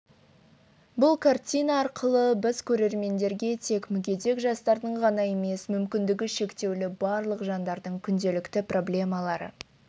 бұл картина арқылы біз көрермендерге тек мүгедек жастардың ғана емес мүмкіндігі шектеулі барлық жандардың күнделікті проблемалары